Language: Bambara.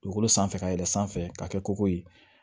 Dugukolo sanfɛ ka yɛlɛn sanfɛ ka kɛ koko ye